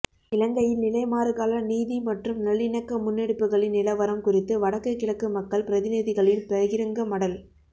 இலங்கையில் நிலைமாறுகால நீதி மற்றும் நல்லிணக்க முன்னெடுப்புகளின் நிலவரம் குறித்து வடக்கு கிழக்கு மக்கள் பிரதிநிதிகளின் பகிரங்க மடல்